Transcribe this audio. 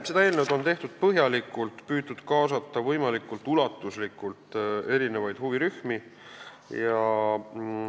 Seda eelnõu on tehtud põhjalikult ja on püütud võimalikult ulatuslikult huvirühmi kaasata.